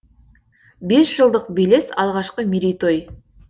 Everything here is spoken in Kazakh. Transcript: бес жылдық белес алғашқы мерейтой